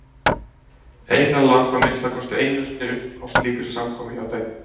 Einar las að minnsta kosti einu sinni upp á slíkri samkomu hjá þeim.